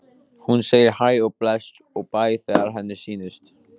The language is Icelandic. Hún segir hæ og bless og bæ þegar henni sýnist!